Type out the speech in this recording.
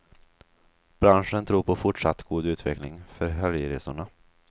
Branschen tror på fortsatt god utveckling för helgresorna.